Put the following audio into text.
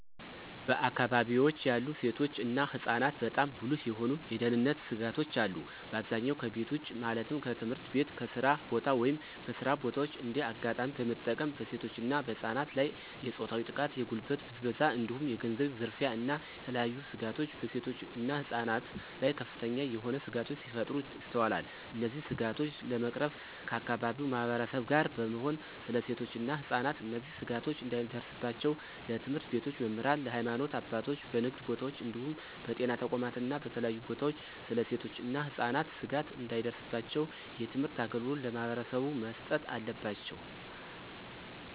በአከባቢወች ያሉ ሴቶች እና ህፃናትበጣም ጉልህ የሆኑ የደህንነት ስጋቶች አሉ። በአብዛኛው ከቤት ውጭ ማለትም ከትምህርት ቤት፣ ከስራ ቦታ፣ ወይም በስራ በታዎች እንደ አጋጣሚ በመጠቀም በሴቶች እና በህፃናት ላይ የፆታዊ ጥቃት፣ የጉልበት ብዝበዛ እንዲሁም የገንዘብ ዝርፊያ እና የተለያዬ ስጋቶች በሴቶች እና ህፃናት ላይ ከፍተኛ የሆነ ስጋቶች ሲፈጠሩ ይስተዋላል። እነዚህን ስጋቶች ለመቅረፍ ከአከባቢው ማህበረሰብ ጋር በመሆን ስለ ሴቶች እና ህፃናት እነዚህ ስጋቶች እንዳይደርስባቸው ለትምህርት ቤቶች መምህራን፣ ለሀይማኖት አባቶች፣ በንግድ ቦታወች እንዲሁም በጤና ተቋማት እና በተለያዩ ቦታወች ስለ ሴቶች እና ህፃናት ስጋት እንዳይደርስባቸው የትምህርት አገልግሎት ለማህበረሰቡ መስጠት አለባቸው።